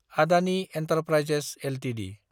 Adani enterprises Ltd